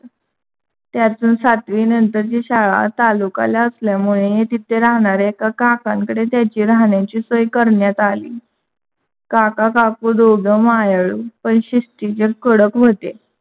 त्याची सातवी नंतर ची शाळा तालुक्याला असल्यामुळे तिथे राहणाऱ्या एका कांकाकडे त्याच्या राहण्याची सोय करण्यात आली काका काकू दोघे मायाळू पण शिस्तीचे कडक होते.